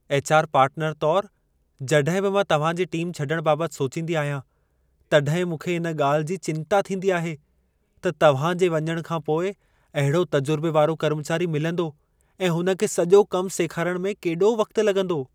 HR. Partner तोर, जॾहिं बि मां तव्हां जे टीम छॾण बाबति सोचींदी आहियां, तॾहिं मूंखे इन ॻाल्हि जी चिंता थींदी आहे त तव्हां जे वञणु खां पोइ अहिड़ो तजुर्बे वारो कर्मचारी मिलंदो ऐं हुन खे सॼो कम सेखारण में केॾो वक़्त लॻंदो।